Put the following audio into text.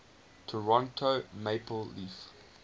toronto maple leafs